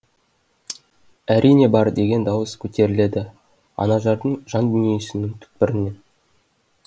әрине бар деген дауыс көтеріледі анажардың жан дүниесінің түкпірінен